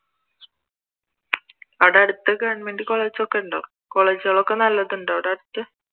അവിടെ അടുത്ത് government college ഒക്കെ ഉണ്ടോ college കൾ ഒക്കെ നല്ലതുണ്ടോ അവിടെ അടുത്ത്?